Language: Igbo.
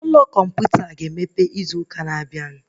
Ime ụlọ kọmputa ga-emeghe echi